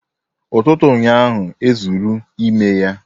Ututu ụnyahụ ezuru ime ya